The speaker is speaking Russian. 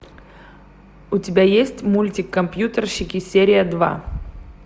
у тебя есть мультик компьютерщики серия два